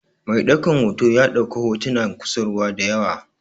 Mai ɗaukan hoto ya ɗauko hotunan kusurwa da yawa.